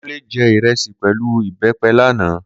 Kunle jẹ ìrẹsì pẹ̀lú ìbẹ́pẹ lánàá.